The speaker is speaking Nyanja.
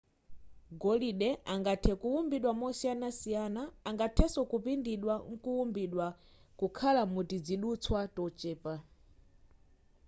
golide angathe kuwumbidwa mosiyanasiyana angathenso kupindidwa nkuwumbidwa kukhala mutizidutswa tochepa